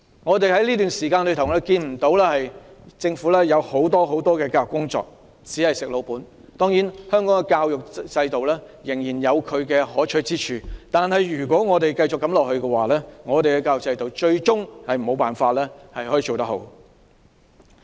在這段時間，我們看不到政府做很多教育工作，只是在"食老本"，當然，香港的教育制度仍然有其可取之處，但如果我們繼續如此，最終也無法做好我們的教育制度。